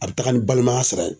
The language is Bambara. A be taga ni balimaya sira ye.